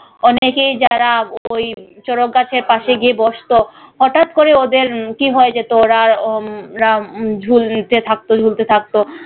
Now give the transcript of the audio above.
অনেকেই যারা ওই চড়ক গাছের পাশে গিয়ে বসতো হঠাৎ করে ওদের উম কি হয়ে যেত ওরা আর উম ওরা ঝুলতে থাকতো ঝুলতে থাকতো।